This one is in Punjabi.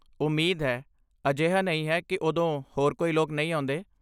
ਉਮੀਦ ਹੈ। ਅਜਿਹਾ ਨਹੀਂ ਹੈ ਕਿ ਉਦੋਂ ਹੋਰ ਕੋਈ ਲੋਕ ਨਹੀਂ ਆਉਂਦੇ।